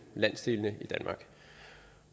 landsdelene i danmark